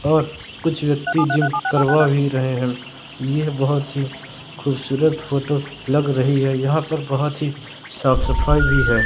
और कुछ व्यक्ति जिम करवा भी रहे हैं ये बहोत ही खूबसूरत फोटो लग रही है यहां पर बहोत ही साफ सफाई भी है।